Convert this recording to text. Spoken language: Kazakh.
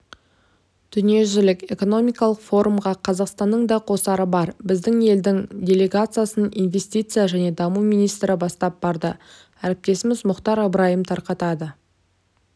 дүниежүзілік экономикалық форумға қазақстанның да қосары бар біздің елдің делегациясын инвестиция және даму министрі бастап барды әріптесіміз мұхтар ыбырайым тарқатады